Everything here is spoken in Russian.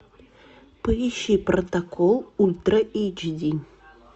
поищи протокол ультра эйч ди